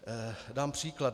Dám příklad.